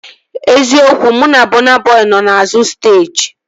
Eziokwu, mụ na Bọna Bọi nọ n'azụ steeji